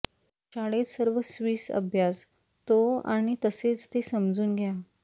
शाळेत सर्व स्विस अभ्यास तो आणि तसेच ते समजून घ्या